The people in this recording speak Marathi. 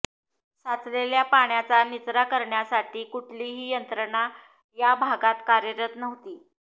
साचलेल्या पाण्याचा निचरा करण्याची कुठलीही यंत्रणा या भागांत कार्यरत नव्हती